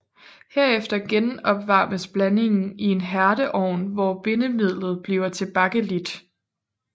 Hefter genopvarmes blandingen i en hærdeovn hvor bindemidlet bliver til bakelit